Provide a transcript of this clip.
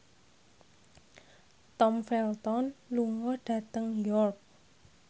Tom Felton lunga dhateng York